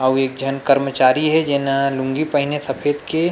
अउ एक झन कर्मचारी हे जेन ह लुंगी पहीने सफेद के--